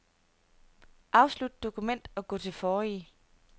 Afslut dokument og gå til forrige.